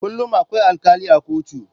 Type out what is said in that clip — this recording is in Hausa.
Kullum akwai alkali a kotu.